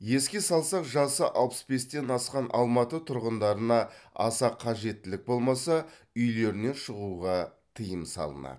еске салсақ жасы алпыс бестен асқан алматы тұрғындарына аса қажеттілік болмаса үйлерінен шығуға тыйым салынады